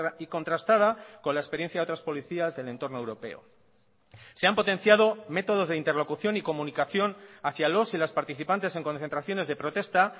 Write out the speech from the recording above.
y contrastada con la experiencia de otras policías del entorno europeo se han potenciado métodos de interlocución y comunicación hacia los y las participantes en concentraciones de protesta